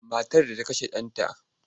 Matar da ta kashe ɗanta.